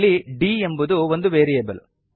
ಇಲ್ಲಿ d ಎಂಬುದು ಒಂದು ವೇರಿಯೇಬಲ್